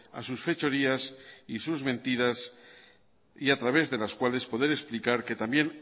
a sus fechorías y sus mentiras y a través de las cuales poder explicar que también